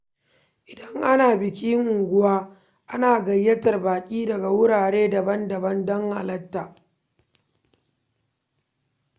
Idan ana bikin unguwa, ana gayyatar baƙi daga wurare daban-daban don halarta.